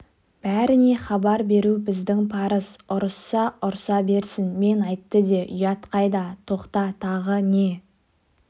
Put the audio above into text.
бәріне хабар беру біздің парыз ұрысса ұрса берсін мен айтты де ұят қайда тоқта тағы не